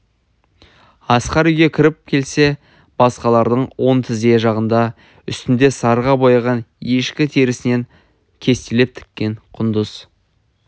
асқар үйге кіріп келсе байсақалдың оң тізе жағында үстінде сарыға бояған ешкі терісінен кестелеп тіккен құндыз